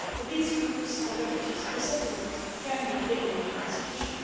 For these groups of refugees, resettlement can be the only solution.